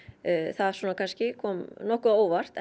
það kom nokkuð á óvart